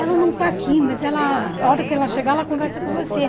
Ela não está aqui, mas ela a hora que ela chegar, ela conversa com você.